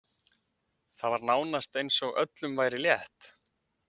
Það var nánast eins og öllum væri létt.